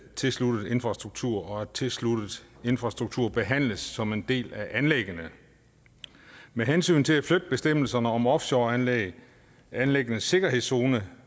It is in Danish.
tilsluttet infrastruktur og at tilsluttet infrastruktur behandles som en del af anlæggene med hensyn til at flytte bestemmelserne om offshoreanlæg anlæggenes sikkerhedszone